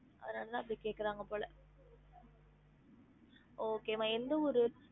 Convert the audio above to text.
அதனால தான் இப்டி கேக்குறாங்க போல okay மா எந்த ஊரு